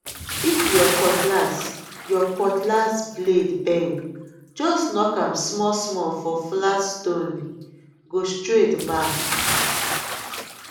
if your cutlass your cutlass blade bend just knock am small small for flat stone go straight back